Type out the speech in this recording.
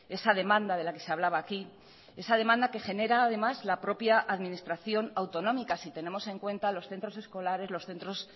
esa demanda de la que se hablaba aquí esa demanda que genera además la propia administración autonómica si tenemos en cuenta los centros escolares los centros